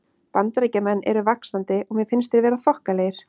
Bandaríkjamenn eru vaxandi og mér finnst þeir vera þokkalegir.